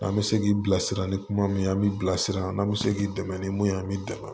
An bɛ se k'i bilasira ni kuma min ye an bɛ bilasira n'an bɛ se k'i dɛmɛ ni mun ye an bɛ dɛmɛ